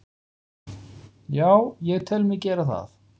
Já, ég tel mig gera það.